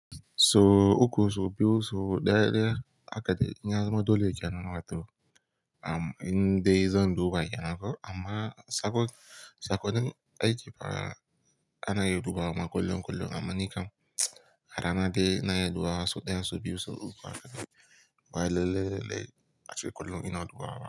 So uku so biyu so daya daya haka ɗai, inya zama dole kenan a to, am in dai zan duba ykenan nako. Amma sakon, sakonin aiki fa ana iya dubawa ma kullum kullum amma ni kam arana dai na ina iya dubawa so ɗaya so biyu so uku haka. Bawai lalle lalle ace kullum ina dubawa.